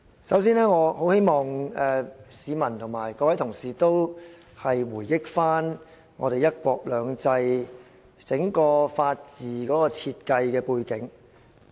首先，我希望市民和各位同事回憶"一國兩制"的整個法治設計背景。